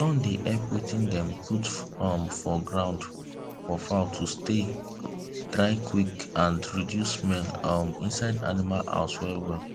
sun dey help wetin dem put um for ground for fowl to stay dry quick and reduce smell um inside animal house well well